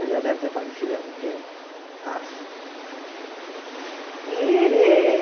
Ele já deve ter falecido há muito tempo, acho. E